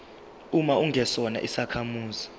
uma ungesona isakhamuzi